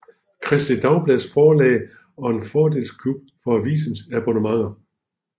Kristeligt Dagblads Forlag og en fordelsklub for avisens abonnenter